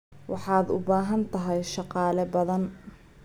Waxaad u baahan tahay shaqaale badan.